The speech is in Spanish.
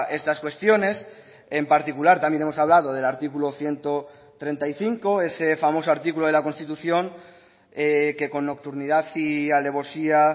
estas cuestiones en particular también hemos hablado del artículo ciento treinta y cinco ese famoso artículo de la constitución que con nocturnidad y alevosía